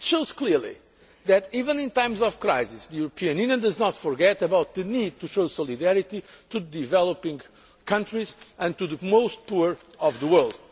This shows clearly that, even in times of crisis, the European Union does not forget about the need to show solidarity to developing countries and to the most poor of the